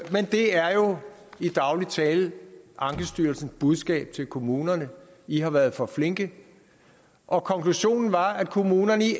er jo i daglig tale ankestyrelsens budskab til kommunerne i har været for flinke og konklusionen var at kommunerne i